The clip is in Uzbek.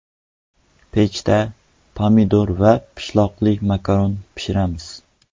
Pechda pomidor va pishloqli makaron pishiramiz.